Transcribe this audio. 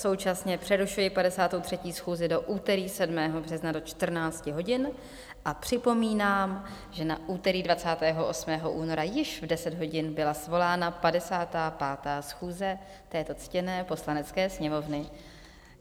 Současně přerušuji 53. schůzi do úterý 7. března do 14 hodin a připomínám, že na úterý 28. února již v 10 hodin byla svolána 55. schůze této ctěné Poslanecké sněmovny.